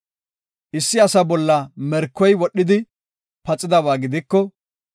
“Issi asa bolla merkoy wodhidi paxidaba gidiko,